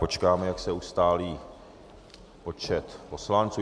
Počkáme, jak se ustálí počet poslanců...